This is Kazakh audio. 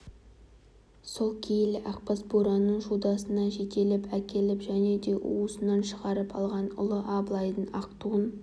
сол киелі ақбас бураны шудасынан жетелеп әкеліп және де уысынан шығарып алған ұлы абылайдың ақ туын